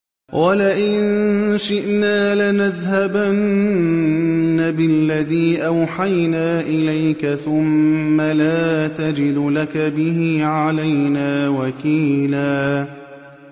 وَلَئِن شِئْنَا لَنَذْهَبَنَّ بِالَّذِي أَوْحَيْنَا إِلَيْكَ ثُمَّ لَا تَجِدُ لَكَ بِهِ عَلَيْنَا وَكِيلًا